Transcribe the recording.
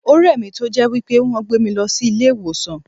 O rè mi tó jẹ́ wípé wón gbé mi lọ sí ilé ìwòsàn.